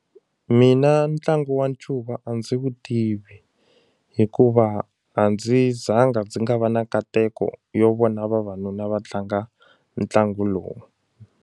Mina ntlangu wa ncuva a ndzi wu tivi hikuva a ndzi zanga ndzi nga va na nkateko yo vona vavanuna va tlanga ntlangu lowu.